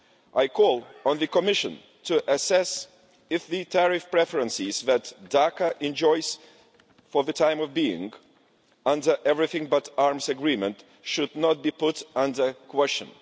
I call on the Commission to assess if the tariff preferences that Dhaka enjoys for the time being under the Everything but Arms agreement should not be put under question.